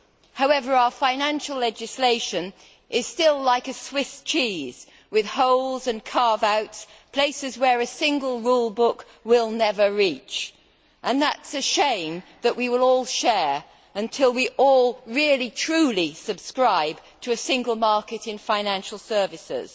However, our financial legislation is still like a Swiss cheese with holes and carve outs places a single rule book will never reach. That is a shame that we will all share until we all really truly subscribe to a single market in financial services.